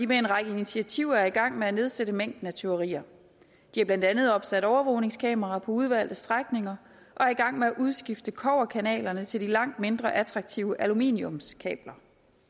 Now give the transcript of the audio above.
med en række initiativer i gang med at nedsætte mængden af tyverier de har blandt andet opsat overvågningskameraer på udvalgte strækninger og er i gang med at udskifte kobberkablerne til de langt mindre attraktive aluminiumskabler